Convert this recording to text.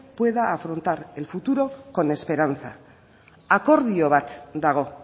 pueda afrontar el futuro con esperanza akordio bat dago